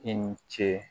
I ni ce